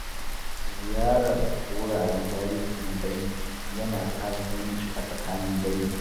Ziyarar wuraren tarihi na dangi ya na ƙara zumunci a tsakanin dangi.